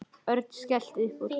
Örn skellti upp úr.